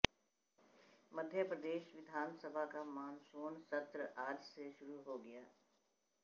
मध्य प्रदेश विधानसभा का मानसून सत्र आज से शुरू हो गया